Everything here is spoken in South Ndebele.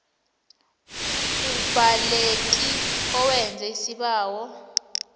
umbaleki owenza isibawo